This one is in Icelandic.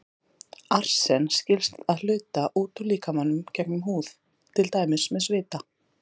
Arsen skilst að hluta út úr líkamanum gegnum húð, til dæmis með svita.